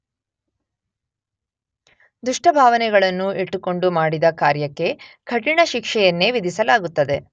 ದುಷ್ಟಭಾವನೆಗಳನ್ನು ಇಟ್ಟುಕೊಂಡು ಮಾಡಿದ ಕಾರ್ಯಕ್ಕೆ ಕಠಿಣ ಶಿಕ್ಷೆಯನ್ನೇ ವಿಧಿಸಲಾಗುತ್ತದೆ.